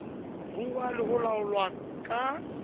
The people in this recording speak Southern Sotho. ruuwa le ho laolwa ka